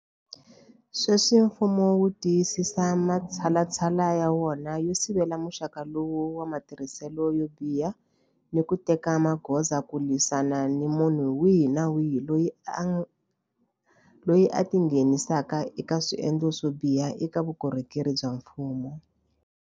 Sweswi mfumo wu tiyisisa matshalatshala ya wona yo sivela muxaka lowu wa matirhiselo yo biha ni ku teka magoza ku lwisana ni munhu wihi ni wihi loyi a tingheni saka eka swendlo swo biha eka vukorhokeri bya mfumo.